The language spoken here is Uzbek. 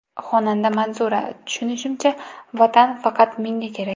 Xonanda Manzura: Tushunishimcha, Vatan faqat menga kerak.